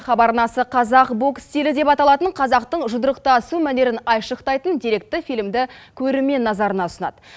хабар арнасы қазақ бокс стилі деп аталатын қазақтың жұдырықтасу мәнерін айшықтайтын деректі фильмді көрермен назарына ұсынады